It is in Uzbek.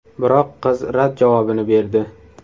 Biroq qiz rad javobini berdi.